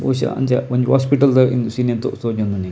ಬಹುಶ ಅಂಚ ಒಂಜಿ ಹಾಸ್ಪಿಟಲ್ ದ ಸೀನ್ ದ ತೋಜೊಂದುಂಡು ಎಂಕ್.